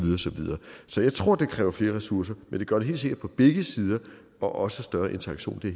videre så jeg tror det kræver flere ressourcer men det gør det helt sikkert på begge sider og også større interaktion det